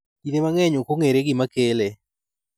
Kinde mang�eny ok ong�ere gima kele.